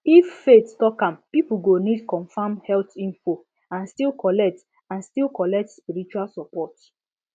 if faith talk am people go need confirm health info and still collect and still collect spiritual support